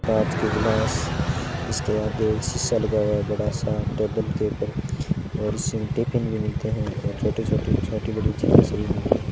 कांच के गिलास इसके आगे एक शीशा लगा हुआ है बड़ा सा टेबल के ऊपर और इसमें टिफिन भी मिलते हैं और छोटे छोटे छोटे बड़ी चीजें सभी मिलती हैं।